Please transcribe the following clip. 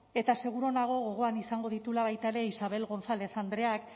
eta seguru nago gogoan izango dituela baita ere isabel gonzález andreak